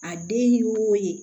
A den ye wo ye